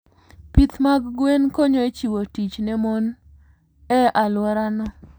Pith mag gwen konyo e chiwo tich ne mon e alworano.